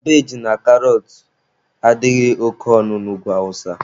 Kabeji na karọt adịghị oke ọnụ na Ugwu awụsa.